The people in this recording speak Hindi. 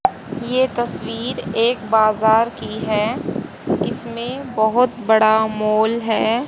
ये तस्वीर एक बाजार की है इसमे बहुत बड़ा मॉल है।